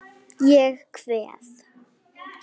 Ég kveð.